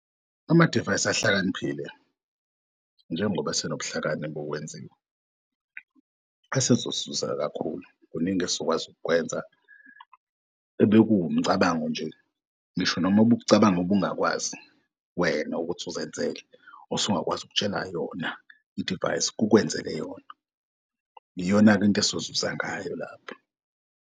Amadivayisi ahlakaniphile njengoba esenobuhlakani bokwenziwa kakhulu. Kuningi esizokwazi ukwenza ebekuwomcabango nje ngisho nomobuk'cabanga obungakwazi wena ukuthi uzenzele usungakwazi ukutshela yona i-device kukwenzele yona. Iyona-ke into esizozuza ngayo lapho.